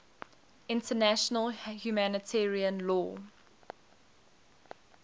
international humanitarian law